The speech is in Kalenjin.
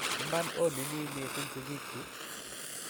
iman ononii misiing sikiik chuu